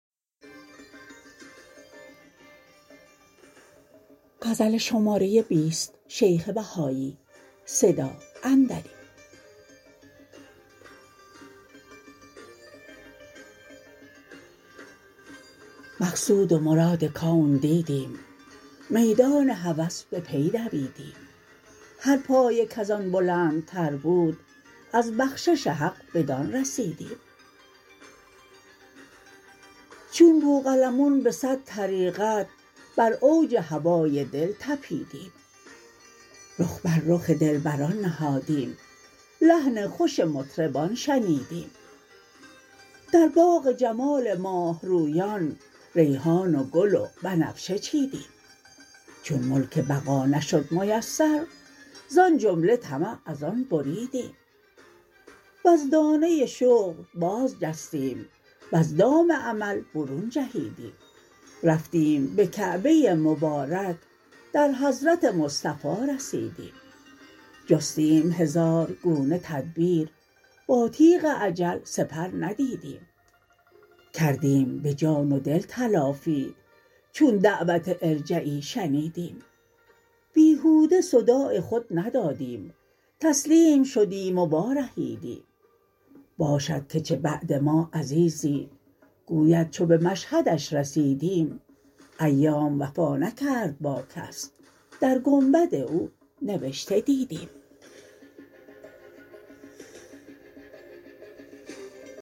مقصود و مراد کون دیدیم میدان هوس به پی دویدیم هر پایه کزان بلندتر بود از بخشش حق بدان رسیدیم چون بوقلمون به صد طریقت بر اوج هوای دل تپیدیم رخ بر رخ دلبران نهادیم لحن خوش مطربان شنیدیم در باغ جمال ماهرویان ریحان و گل و بنفشه چیدیم چون ملک بقا نشد میسر زان جمله طمع از آن بریدیم وز دانه شغل باز جستیم وز دام عمل برون جهیدیم رفتیم به کعبه مبارک در حضرت مصطفی رسیدیم جستیم هزار گونه تدبیر با تیغ اجل سپر ندیدیم کردیم به جان و دل تلافی چون دعوت ارجعی شنیدیم بیهوده صداع خود ندادیم تسلیم شدیم و وارهیدیم باشد که چه بعد ما عزیزی گوید چو به مشهدش رسیدیم ایام وفا نکرد با کس در گنبد او نوشته دیدیم